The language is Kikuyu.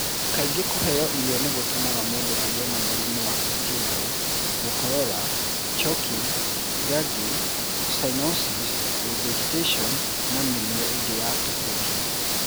Kaingĩ kũheo irio nĩ gũtũmaga mũndũ agĩe na mũrimũ wa stridor, gũkorora, choking, gagging, cyanosis, regurgitation, na mĩrimũ ĩngĩ ya kũhũhia.